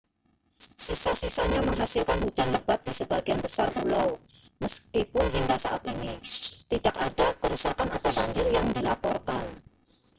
sisa-sisanya menghasilkan hujan lebat di sebagian besar pulau meskipun hingga saat ini tidak ada kerusakan atau banjir yang dilaporkan